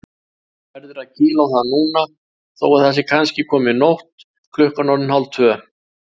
Verður að kýla á það núna þó að það sé komin nótt, klukkan orðin hálftvö.